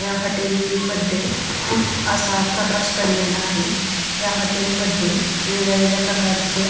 ह्या हॉटेलमध्ये खूप असा प्रकाश पडलेला आहे ह्या हॉटेलमध्ये वेगवेगळ्या प्रकारच्या --